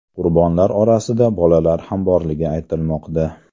Qurbonlar orasida bolalar ham borligi aytilmoqda.